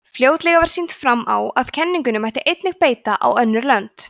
fljótlega var sýnt fram á að kenningunni mátti einnig beita á önnur lönd